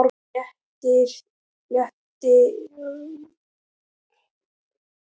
Léttirinn sem fylgdi játningunni kom mér á óvart.